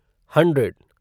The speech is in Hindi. हन्ड्रेड